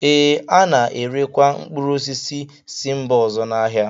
Ee, a na-erekwa mkpụrụ osisi si mba ọzọ n'ahịa